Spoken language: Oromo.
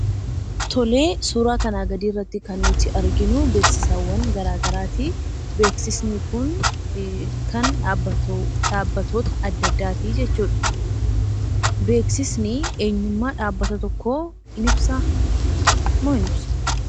Tole, suuraa kanaa gadii irratti kan nuti argaa jirru, beeksisawwan garaa garaati. Beeksisni kun kan dhaabbattoota adda addaati jechuudha. Beeksisni eenyummaa dhaabbata tokkoo in ibsa moo hin ibsu?